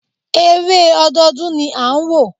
Eré ọdọọdún ni à ń wò.